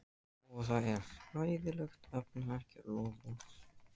Og það er hræðilegt að efna ekki loforð.